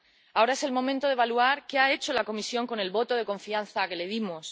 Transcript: Ahora es el momento de evaluar qué ha hecho la Comisión con el voto de confianza que le dimos.